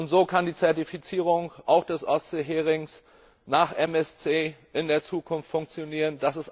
So kann die Zertifizierung auch des Ostseeherings nach MSC in der Zukunft funktionieren.